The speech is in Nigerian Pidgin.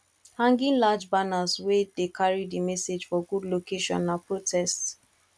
hanging large banners wey de carry di message for good location na protests